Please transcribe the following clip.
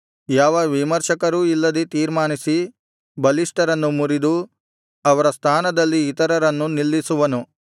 ಯಾವ ವಿಮರ್ಶಕರೂ ಇಲ್ಲದೆ ತೀರ್ಮಾನಿಸಿ ಬಲಿಷ್ಠರನ್ನು ಮುರಿದು ಅವರ ಸ್ಥಾನದಲ್ಲಿ ಇತರರನ್ನು ನಿಲ್ಲಿಸುವನು